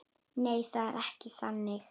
Nei, það er ekki þannig.